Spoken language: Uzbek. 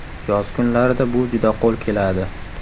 Yoz kunlarida bu juda qo‘l keladi.